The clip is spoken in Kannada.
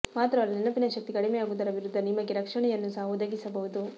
ಮಾತ್ರವಲ್ಲ ನೆನಪಿನ ಶಕ್ತಿ ಕಡಿಮೆಯಾಗುವುದರ ವಿರುದ್ಧ ನಿಮಗೆ ರಕ್ಷಣೆಯನ್ನೂ ಸಹ ಒದಗಿಸಬಹುದು